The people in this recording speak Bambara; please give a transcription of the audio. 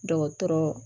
Dɔgɔtɔrɔ